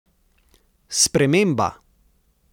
Sprememba?